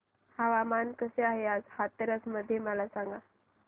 हवामान कसे आहे आज हाथरस मध्ये मला सांगा